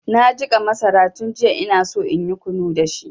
Na jiƙa masara tun jiya inaso inyi kunu dashi.